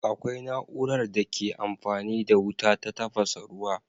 Akwai na'urar da ke amfani da wuta ta tafasa ruwa.